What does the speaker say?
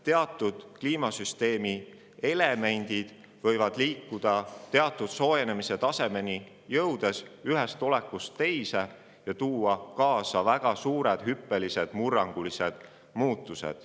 Teatud globaalse soojenemise tasemeni jõudes võivad mitmed kliimasüsteemi elemendid liikuda ühest olekust teise ja tuua kaasa väga suured murrangulised muutused.